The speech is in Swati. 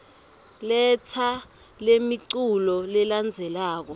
letsa lemiculu lelandzelako